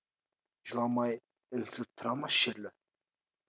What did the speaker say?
жыламай үнсіз тұра ма шерлі